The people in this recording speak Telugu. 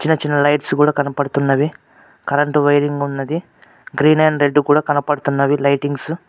చిన్న చిన్న లైట్స్ గూడ కనపడుతున్నవి కరెంటు వైరింగ్ ఉన్నది గ్రీన్ అండ్ రెడ్ కూడా కనపడుతున్నవి లైటింగ్సు .